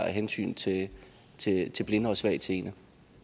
af hensyn til til blinde og svagtseende